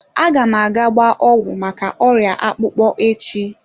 Aga m aga gbaa ọgwụ maka oria akpukpo echi.